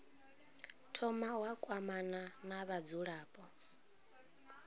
thoma wa kwamana na vhadzulapo